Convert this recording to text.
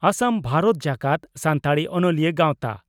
ᱟᱥᱟᱢ ᱵᱷᱟᱨᱚᱛ ᱡᱟᱠᱟᱛ ᱥᱟᱱᱛᱟᱲᱤ ᱚᱱᱚᱞᱤᱭᱟᱹ ᱜᱟᱣᱛᱟ